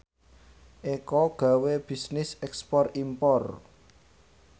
Eko gawe bisnis ekspor impor